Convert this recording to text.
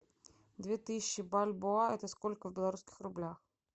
две тысячи бальбоа это сколько в белорусских рублях